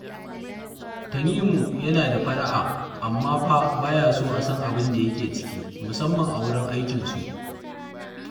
Tanimu yana da fara'a, amma fa ba ya so a san abin da yake ciki, musamman a wurin aikinsu